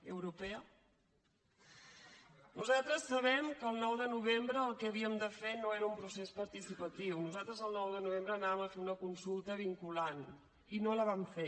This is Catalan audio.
europea nosaltres sabem que el nou de novembre el que havíem de fer no era un procés participatiu nosaltres el nou de novembre anàvem a fer una consulta vinculant i no la vam fer